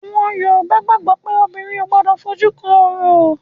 Àwọn Yorùbá gbàgbó pé obìnrin ò gbọ́dọ̀ fojú rí òrò